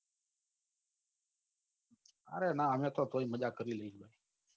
અરે ના અમે તો તોય મજા કરી લઈએ